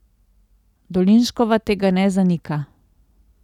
Dolinškova tega ne zanika.